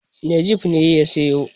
Najeeb ne ya siyo.